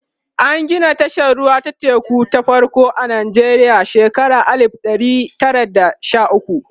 an Gina tashar ruwa ta teku ta farko a Nijeriya a shekara alif ɗari Tara da Sha ukwu